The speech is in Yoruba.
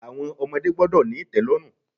Àwọn ọmọdé gbọ́dọ̀ ní ìtẹ́lọ́rùn.